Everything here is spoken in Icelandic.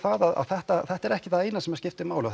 að þetta þetta er ekki það eina sem skiptir máli